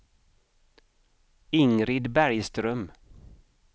Ingrid Bergström